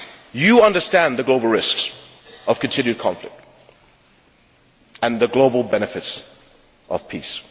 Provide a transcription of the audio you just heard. You understand the global risks of continued conflict and the global benefits of peace.